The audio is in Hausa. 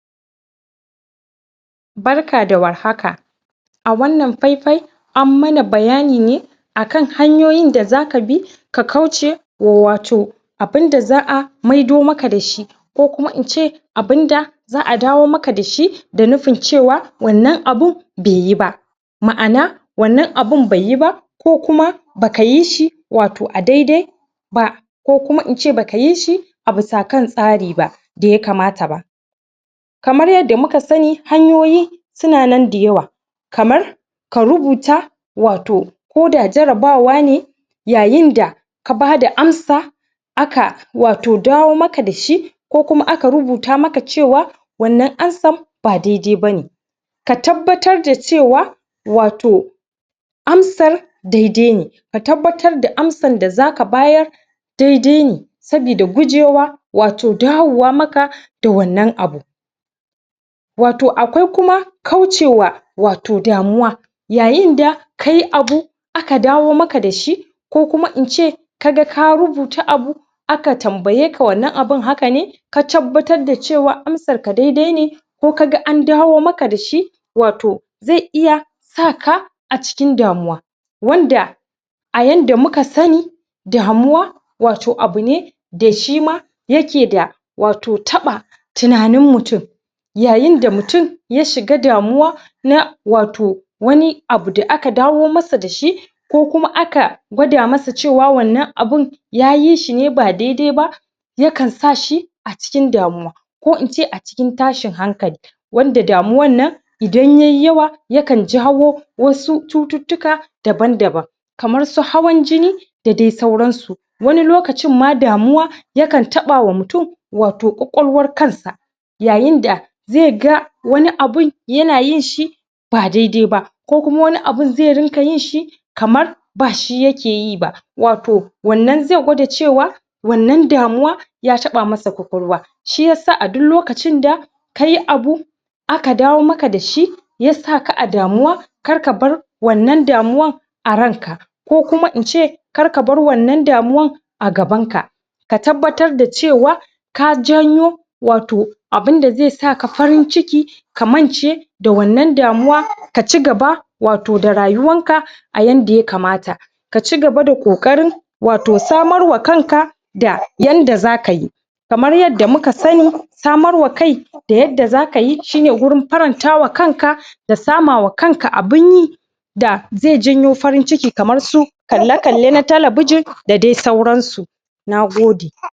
barka da warhaka a wannan faifai an mana bayani ne a kan hanyoyin da zaka bi ka kauce wa wato abin da za'a maido maka dashi ko kuma ince abunda za'a dawo maka dashi da nufin cewa wannan abun beyi ba ma'ana wannan abun beyiba ko kuma baka yishi wato a daidai ba ko kuma ince baka yishi abusa kan tsari ba da ya kamata ba kamar yadda muka sani hanyoyi suna nan da yawa kamar ka rubuta wato ko da jarabawa ne yayinda ka bada amsa aka wato dawo maka dashi ko kuma aka rubuta maka cewa wannan ansan ba daidai bane ka tabbatar da cewa wato amsar daidai ne ka tabbatar da amsar da zaka bayar daidai ne sabida gujewa wato dawo wa maka da wannan abu wato akwai kuma kauce wa um damuwa yayinda kai abu aka dawo maka dashi ko kuma ince kaga ka rubuta abu aka tambayeka wannan abun haka ne ka tabbatar da cewa amsar ka daidai ne ko kuma kaga an dawo maka dashi wato ze iya saka a cikin damuwa wanda a yanda muka sani damuwa wato abune da shima yake da wato taɓa tunanin mutum yayinda mutum ya shiga damuwa na wato wani abu da aka dawo masa dashi ko kuma aka gwada masa cewa wannan abun ya yishine ba daidai ba yakan sashi a cikin damuwa ko ince a cikin tashin hankali wanda damuwannna idan yai yawa yakan jawo wasu cututtuka daban daban kamar su hawan jini da dai sauransu wani lokacin ma damuwa yakan taɓawa mutum wato ƙwaƙwalwar kansa yayin da zega wani abun yana yinshi ba daidai ba ko kuma wani abun ze ringa yinshi kamar bashi yake yiba wato wannan ze gwada cewa wannan damuwa ya taɓa masa ƙwaƙwalwa shi yasa a duk lokacin da kayi abu aka dawo maka dashi ya saka a damuwa karka bar wannan damuwar a ranka ko kuma ince karka bar wannan damuwan a gaban ka ka tabbatar da cewa ka janyo wato abunda zesa ka farin ciki ka mance da wannan damuwa kaci gaba da wato rayuwanka a yanda ya kamata kaci gaba da ƙoƙarin wato samar wa kanka da yanda zaka yi kamar yadda muka sani samar wa kai da yadda zaka yi shine gurin faranta wa kanka da sama wa kanka abun yi da ze janyo farin ciki kamar su kalle kalle na talabijin da dai sauransu na gode